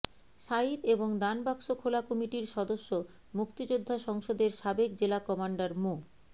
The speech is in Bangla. সাঈদ এবং দানবাক্স খোলা কমিটির সদস্য মুক্তিযাদ্ধা সংসদের সাবেক জেলা কমান্ডার মো